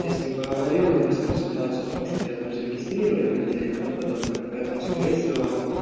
я с ним поговорил объяснил ситуацию о том что тебя там зарегистрировать нельзя и тому подобное поэтому скорее всего